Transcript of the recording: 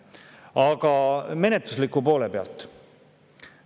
Aga nüüd menetluslikust poolest.